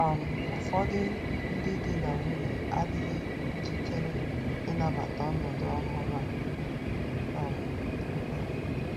um Ụfọdụ ndị di na nwunye adịghị njikere ịnabata ọnọdụ ọhụrụ a um. um